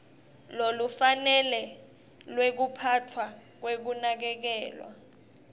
lolufanele lwekuphatfwa kwekunakekelwa